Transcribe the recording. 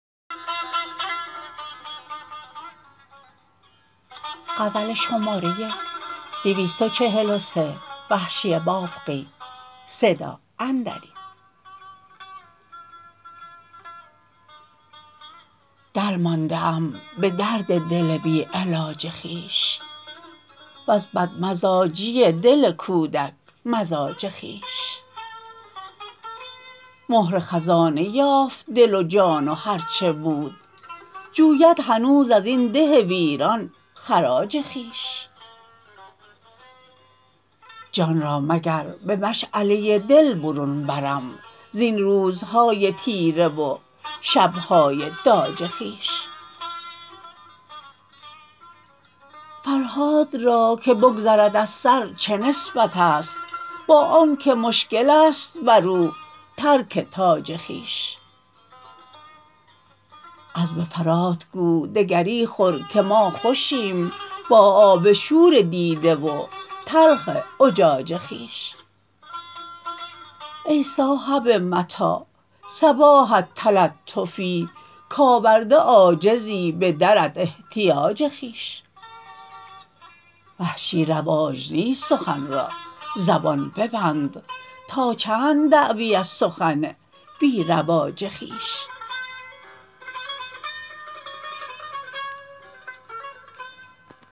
در مانده ام به درد دل بی علاج خویش و ز بد مزاجی دل کودک مزاج خویش مهر خزانه یافت دل و جان و هر چه بود جوید هنوز ازین ده ویران خراج خویش جان را مگر به مشعله دل برون برم زین روزهای تیره و شبهای داج خویش فرهاد را که بگذرد از سر چه نسبت است با آنکه مشکل است بر او ترک تاج خویش عذب فرات گو دگری خور که ما خوشیم با آب شور دیده و تلخ اجاج خویش ای صاحب متاع صباحت تلطفی کاورده عاجزی به درت احتیاج خویش وحشی رواج نیست سخن را زبان ببند تا چند دعوی از سخن بی رواج خویش